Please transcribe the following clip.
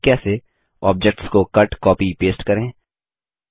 आपने सीखा कि कैसे ऑब्जेक्ट्स को कट कॉपी पेस्ट करें